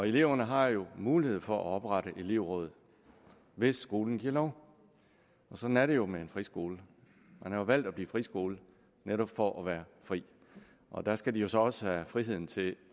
eleverne har jo mulighed for at oprette elevråd hvis skolen giver lov sådan er det jo med en friskole man har jo valgt at blive friskole netop for at være fri og der skal de jo så også have friheden til